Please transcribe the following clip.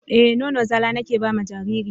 Eh nono zala nike bama jariri na.